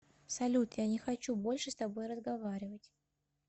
салют я не хочу больше с тобой разговаривать